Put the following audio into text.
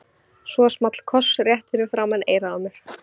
Svo small koss rétt fyrir framan eyrað á mér.